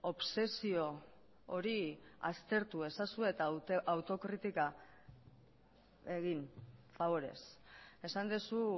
obsesio hori aztertu ezazue eta autokritika egin faborez esan duzu